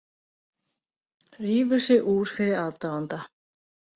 Rífur sig úr fyrir aðdáanda